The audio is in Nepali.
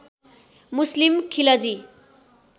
मुस्लिम खिलजी